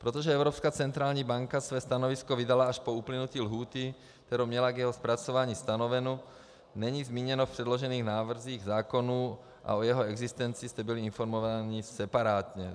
Protože Evropská centrální banka své stanovisko vydala až po uplynutí lhůty, kterou měla k jeho zpracování stanovenu, není zmíněno v předložených návrzích zákonů a o jeho existenci jste byli informováni separátně.